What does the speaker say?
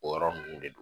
O yɔrɔ ninnu de don